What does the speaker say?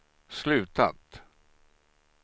slutat